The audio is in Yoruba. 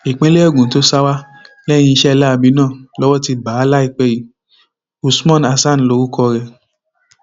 ìpínlẹ ogun tó sá wa lẹyìn iṣẹ láabi náà lowó ti bá a láìpẹ yìí usman hasan lorúkọ ẹ